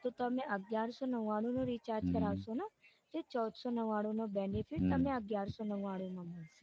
તો તમે અગિયારસો નવ્વાણું નું recharge કરાવસોને તો ચૌદસો નવ્વાણું નો benefit તમને અગિયારસો નવ્વાણુમાં મળશે.